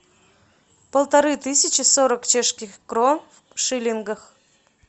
полторы тысячи сорок чешских крон в шиллингах